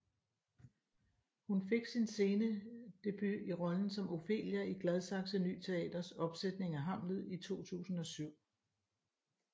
Hun fik sin scenedebut i rollen som Ofelia i Gladsaxe Ny Teaters opsætning af Hamlet i 2007